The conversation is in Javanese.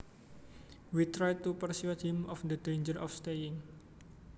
We tried to persuade him of the danger of staying